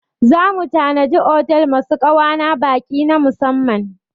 Za mu tanadi otel masu ƙa'wa na baƙi na musamman.